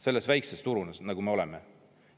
Sellel väiksel turul, kus me oleme?